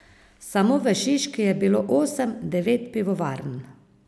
Samo v Šiški je bilo osem, devet pivovarn.